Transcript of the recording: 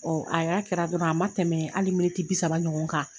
a yɛra kɛra dɔrɔn a ma tɛmɛ hali bi saba ɲɔgɔn kan